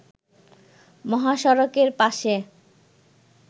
মহাসড়কের পাশে